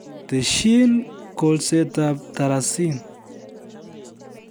Tesyi kolsetab tarasin